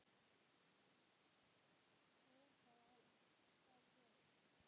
Og er það vel.